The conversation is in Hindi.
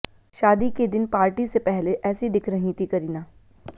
शादी के दिन पार्टी से पहले ऐसी दिख रही थीं करीना